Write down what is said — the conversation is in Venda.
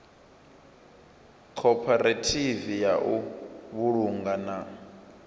khophorethivi ya u vhulunga na